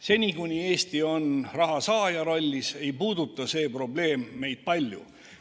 Seni, kuni Eesti on rahasaaja rollis, ei puuduta see probleem meid palju.